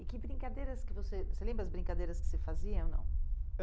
E que brincadeiras que você... você lembra as brincadeiras que você fazia ou não? Eh